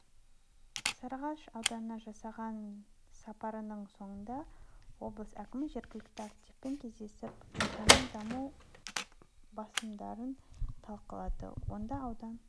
сарыағаш ауданына жасаған сапарының соңында облыс әкімі жергілікті активпен кездесіп ауданның даму басымдықтарын талқылады онда аудан